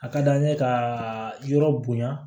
A ka d'an ye ka yɔrɔ bonya